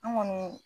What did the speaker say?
An kɔni